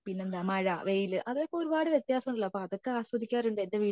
പിന്നെന്താ മഴ വെയിൽ അതൊക്കെ ഒരുപാട് വത്യാസം ഉള്ളതാ അതൊക്കെ ആസ്വദിക്കാറുണ്ട്